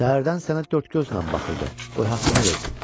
Səhərdən sənə dörd gözlə baxırdı, qoy haqqını versin.